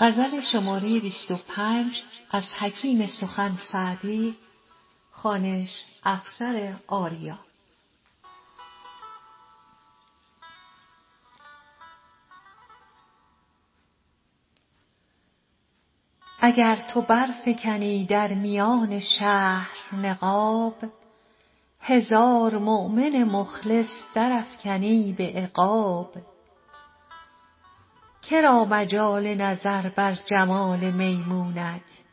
اگر تو برفکنی در میان شهر نقاب هزار مؤمن مخلص درافکنی به عقاب که را مجال نظر بر جمال میمونت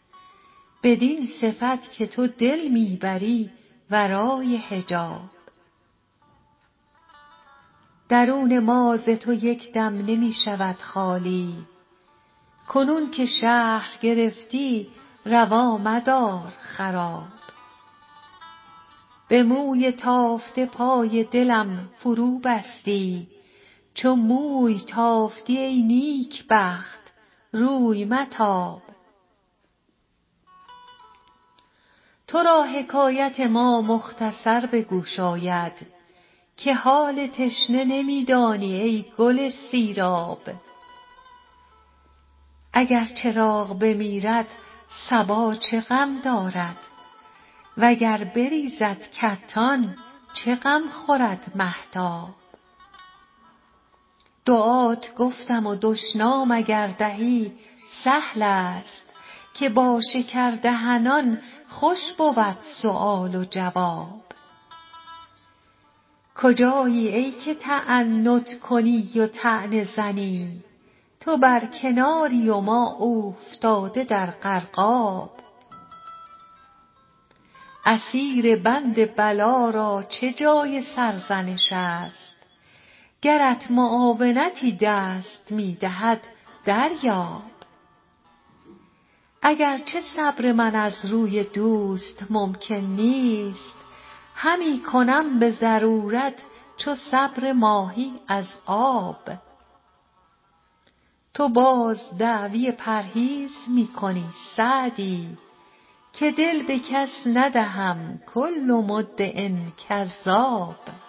بدین صفت که تو دل می بری ورای حجاب درون ما ز تو یک دم نمی شود خالی کنون که شهر گرفتی روا مدار خراب به موی تافته پای دلم فروبستی چو موی تافتی ای نیکبخت روی متاب تو را حکایت ما مختصر به گوش آید که حال تشنه نمی دانی ای گل سیراب اگر چراغ بمیرد صبا چه غم دارد و گر بریزد کتان چه غم خورد مهتاب دعات گفتم و دشنام اگر دهی سهل است که با شکردهنان خوش بود سؤال و جواب کجایی ای که تعنت کنی و طعنه زنی تو بر کناری و ما اوفتاده در غرقاب اسیر بند بلا را چه جای سرزنش است گرت معاونتی دست می دهد دریاب اگر چه صبر من از روی دوست ممکن نیست همی کنم به ضرورت چو صبر ماهی از آب تو باز دعوی پرهیز می کنی سعدی که دل به کس ندهم کل مدع کذاب